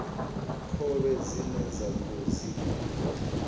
khovhe dzine vha khou dzi